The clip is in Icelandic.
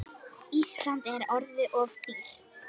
Ísland er orðið of dýrt.